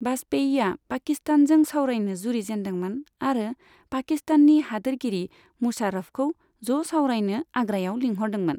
बाजपेयीया पाकिस्तानजों सावरायनो जुरिजेनदोंमोन आरो पाकिस्ताननि हादोरगिरि मुशारफखौ ज' सावरायनो आग्रायाव लिंहरदोंमोन।